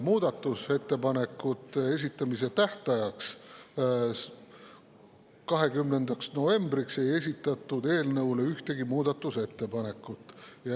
Muudatusettepanekute esitamise tähtajaks, 20. novembriks ei esitatud eelnõu kohta ühtegi muudatusettepanekut.